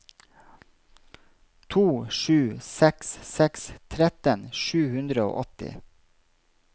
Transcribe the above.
to sju seks seks tretten sju hundre og åtti